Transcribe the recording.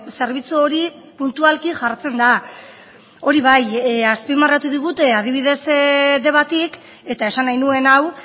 zerbitzu hori puntualki jartzen da hori bai azpimarratu digute adibidez debatik eta esan nahi nuen hau